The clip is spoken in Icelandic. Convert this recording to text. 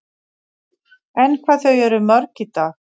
En hvað eru þau mörg í dag?